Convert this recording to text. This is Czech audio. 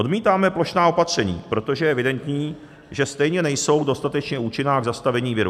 Odmítáme plošná opatření, protože je evidentní, že stejně nejsou dostatečně účinná k zastavení viru.